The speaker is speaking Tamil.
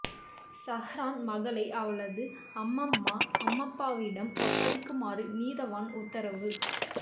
சஹ்ரான் மகளை அவளது அம்மம்மா அம்மப்பாவிடம் ஒப்படைக்குமாறு நீதவான் உத்தரவு